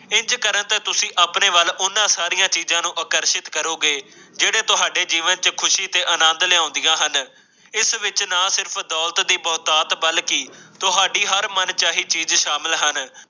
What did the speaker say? ਤੇ ਤੁਸੀ ਉਹਨਾਂ ਸਾਰੀਆਂ ਚੀਜਾਂ ਨੂੰ ਆਪਣੀ ਆਕਰਸ਼ਿਤ ਕਰੋਗੇ ਜਿਹੜੇ ਤੁਹਾਡੇ ਜੀਵਨ ਵਿਚ ਖ਼ੁਸ਼ੀ ਤੇ ਆਨੰਦ ਲੈ ਆਉਂਦੀਆਂ ਹਨ ਇਸ ਵਿੱਚ ਨਾ ਸਿਰਫ਼ ਦੌਲਤ ਦੀ ਬਰਕਤ ਬਲਕਿ ਤੁਹਾਡੇ ਹਰ ਮਨਚਾਹੀ ਚੀਜ਼ ਸਾਮਲ ਹਨ